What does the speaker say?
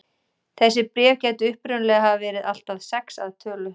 Þessi bréf gætu upprunalega hafa verið allt að sex að tölu.